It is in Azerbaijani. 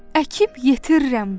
Əkib yetirirəm barı.